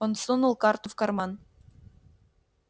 он сунул карту в карман